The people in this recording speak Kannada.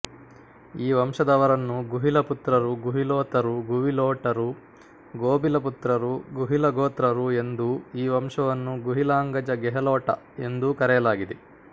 ಈ ವಂಶದವರನ್ನು ಗುಹಿಲ ಪುತ್ರರು ಗುಹಿಲೋತರು ಗುಹಿಲೋಟರು ಗೋಭಿಲಪುತ್ರರು ಗುಹಿಲಗೋತ್ರರು ಎಂದೂ ಈ ವಂಶವನ್ನು ಗುಹಿಲಾಂಗಜ ಗೆಹಲೊಟ ಎಂದೂ ಕರೆಯಲಾಗಿದೆ